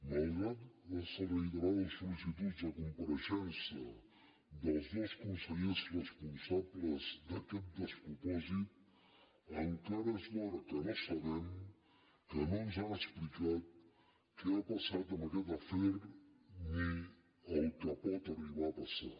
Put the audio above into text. malgrat les reiterades solpareixença dels dos consellers responsables d’aquest despropòsit encara és l’hora que no sabem que no ens ho han explicat què ha passat amb aquest afer ni el que pot arribar a passar